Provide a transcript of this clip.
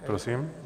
Prosím.